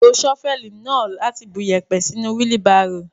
Lo ṣọ́fẹ́ẹ̀lì náà láti bu iyẹ̀pẹ̀ sínú wílí barò.